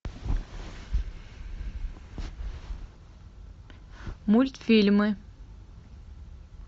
мультфильмы